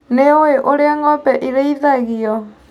Nĩũĩ ũrĩa ng'ombe cirĩithagio.